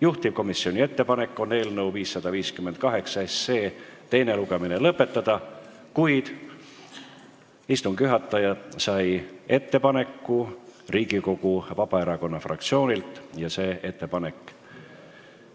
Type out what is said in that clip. Juhtivkomisjoni ettepanek on eelnõu 558 teine lugemine lõpetada, kuid istungi juhataja on saanud ettepaneku Riigikogu Vabaerakonna fraktsioonilt ja see ettepanek